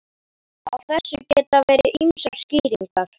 Á þessu geta verið ýmsar skýringar.